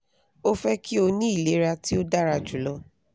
o fẹ ki o ni ilera ti o dara julọ